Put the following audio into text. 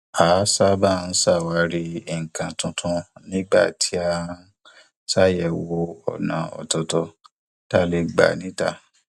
a sábà ń ṣàwárí nǹkan tuntun nígbà tí a ń ṣàyẹwò ọnà ọtọọtọ tá a lè gbà níta